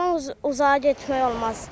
Ondan uzağa getmək olmaz.